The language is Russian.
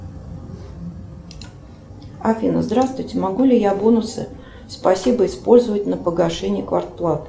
афина здравствуйте могу ли я бонусы спасибо использовать на погашение квартплаты